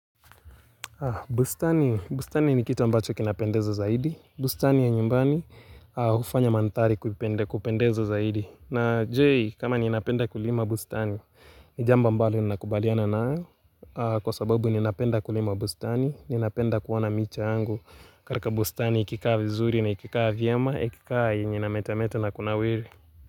Bustani ni kitu ambacho kinapendezo zaidi bustani ya nyumbani hufanya mandhari kupendezo zaidi na je kama ninapenda kulima bustani Nijambo ambalo ninakubaliana nayo Kwa sababu ninapenda kulima bustani Ninapenda kuona micha yangu katika bustani ikikaa vizuri na ikikaa vyema ikikaa yenye na inametamete na kunawiri.